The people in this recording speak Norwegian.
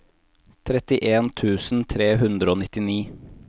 trettien tusen tre hundre og nittini